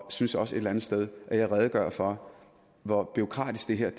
synes også et eller andet sted at jeg redegjorde for hvor bureaukratisk det her